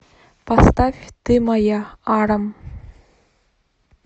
поставь ты моя арам